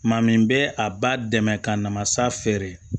Maa min bɛ a ba dɛmɛ ka na masa feere